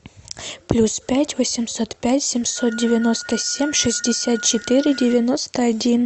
плюс пять восемьсот пять семьсот девяносто семь шестьдесят четыре девяносто один